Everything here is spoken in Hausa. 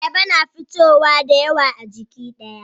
Ayaba na fitowa dayawa a jiki daya